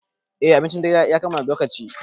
Eh, abincin dare ya kammala, zo kaci